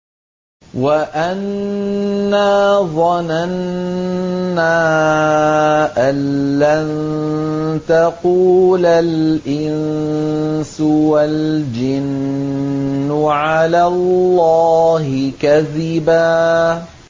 وَأَنَّا ظَنَنَّا أَن لَّن تَقُولَ الْإِنسُ وَالْجِنُّ عَلَى اللَّهِ كَذِبًا